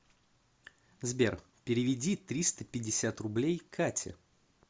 сбер переведи триста пятьдесят рублей кате